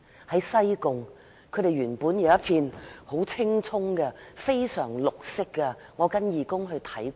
在西貢，牠們原本擁有一片青蔥的原棲息地，我跟義工去看過。